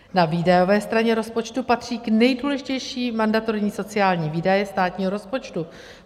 Na výdajové straně rozpočtu patří k nejdůležitějším mandatorní sociální výdaje státního rozpočtu.